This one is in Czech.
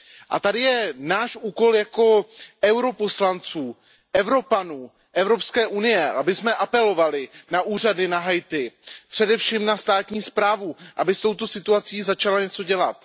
A tady je náš úkol jako europoslanců, Evropanů, Evropské unie, abychom apelovali na úřady na Haiti. Především na státní správu, aby s touto situací začala něco dělat.